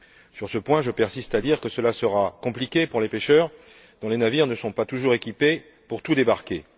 Sur ce point, je persiste à dire que cela sera compliqué pour les pêcheurs, dont les navires ne sont pas toujours équipés pour tout débarquer.